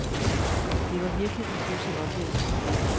Det var virkelig en pudsig oplevelse.